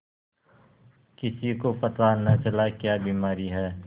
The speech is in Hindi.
किसी को पता न चला क्या बीमारी है